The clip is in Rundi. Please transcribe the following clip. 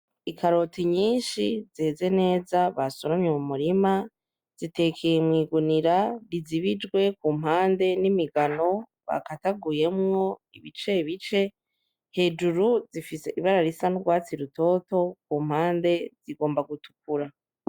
Ikaroti nyinshi zeze neza basomye mu murima zitekeye mwigunira rizibijwe ku mpande n'imigano bakataguyemwo ibice bice hejuru zifise ibara risa nurwatsi rutoto ku mpande zigomba gutukura.